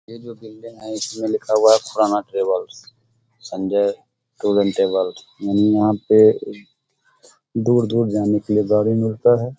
ये जो बिल्डिंग है इसमें लिखा हुआ है Khurana travels Sanjay tour and travels यानी यहाँ पे दूर-दूर जाने के लिए गाड़ी मिलता है।